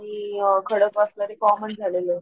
common झालेली आहेतं